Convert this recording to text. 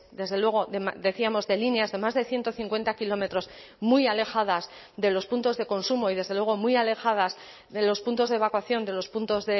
desde luego decíamos de líneas de más de ciento cincuenta kilómetros muy alejadas de los puntos de consumo y desde luego muy alejadas de los puntos de evacuación de los puntos